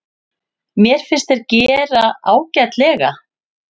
Mér fannst þeir gera ágætlega.